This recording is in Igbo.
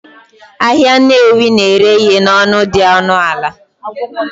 Ahịa Nnewi na-ere ihe n'ọnụ dị ọnụ ala